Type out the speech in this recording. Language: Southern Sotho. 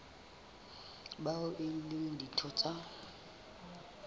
bao e leng ditho tsa